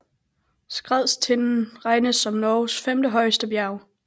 Skardstinden regnes som Norges femte højeste bjerg